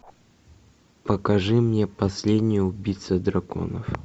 покажи мне последний убийца драконов